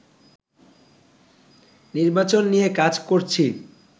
নির্বাচন নিয়ে কাজ করছি